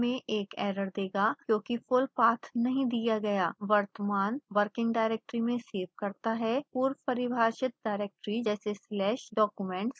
परिणाम में एक एरर देगा क्योंकि full path नहीं दिया गया